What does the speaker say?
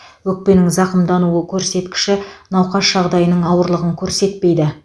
өкпенің зақымдануы көрсеткіші науқас жағдайының ауырлығын көрсетпейді